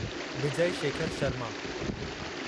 Vijay Shekhar Sharma